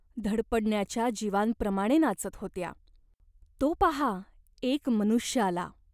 धडपडणाच्या जीवांप्रमाणे नाचत होत्या. तो पाहा एक मनुष्य आला.